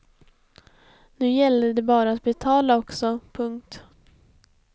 Nu gällde det bara att betala också. punkt